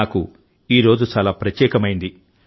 నాకు ఈ రోజు చాలా ప్రత్యేకమైంది